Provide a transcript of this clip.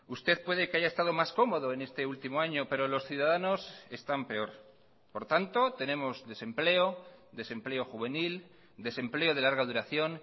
usted puede que haya estado más cómodo en este último año pero los ciudadanos están peor por tanto tenemos desempleo desempleo juvenil desempleo de larga duración